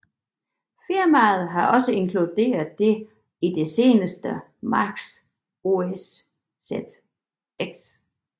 Firmaet har også inkluderet det i det seneste Mac OS X